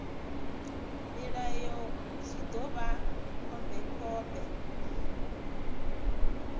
mulayo zwi ḓo vha khombekhombe